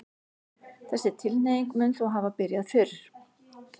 þessi tilhneiging mun þó hafa byrjað fyrr